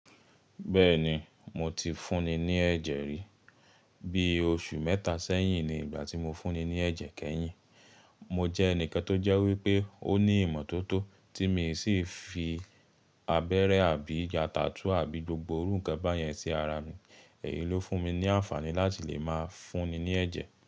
Bẹ́ẹ̀ni, mo ti fúnni ní ẹ̀jẹ̀ rí. Bí oṣù mẹ́ta sẹ́yìn ni ìgbà tí mo fúnni ní ẹ̀jẹ̀ kẹ́yìn. Mo jẹ́ ẹni tó jẹ́ wípé ó ní ìmọ́tótó tí mi sì fi abẹ́rẹ́ àbí ya tatúú àbí gbogbo iru nkan bá yẹn sí ara mi. Èyí ló fún mi ní àǹfààní láti lè máa fúnni ní ẹ̀jẹ̀